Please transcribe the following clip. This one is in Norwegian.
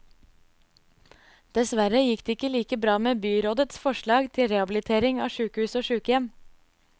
Dessverre gikk det ikke like bra med byrådets forslag til rehabilitering av sykehus og sykehjem.